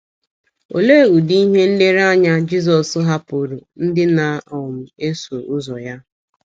Olee ụdị ihe nlereanya Jizọs hapụụrụ ndị na - um eso ụzọ ya?